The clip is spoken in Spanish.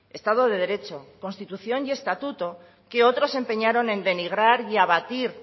estado de derecho constitución y estatuto que otros se empeñaron en denigrar y abatir